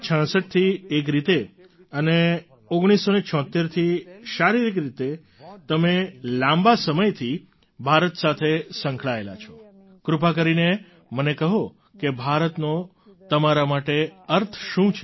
1966 થી એક રીતે અને 1976 થી શારીરિક રીતે તમે લાંબા સમયથી ભારત સાથે સંકળાયેલા છો કૃપા કરીને મને કહો કે ભારતનો તમારા માટે અર્થ શું છે